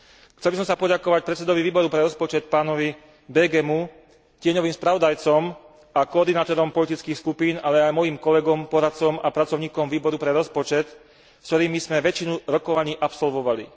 Chcel by som sa poďakovať predsedovi Výboru pre rozpočet pánovi Bögemu, tieňovým spravodajcom a koordinátorom politických skupín, ale aj mojim kolegom, poradcom a pracovníkom Výboru pre rozpočet, s ktorými sme väčšinu rokovaní absolvovali.